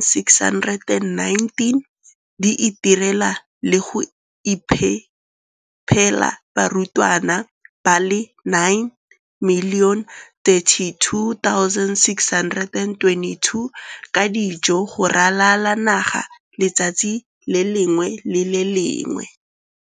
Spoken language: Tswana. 619 di itirela le go iphepela barutwana ba le 9 032 622 ka dijo go ralala naga letsatsi le lengwe le le lengwe.